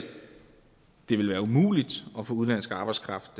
det vil være umuligt at få udenlandsk arbejdskraft